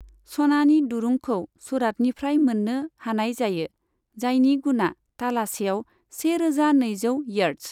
सनानि दुरुंखौ सूरातनिफ्राय मोननो हानाय जायो, जायनि गुना तालासेआव सेरोजा नैजौ इयार्द्स।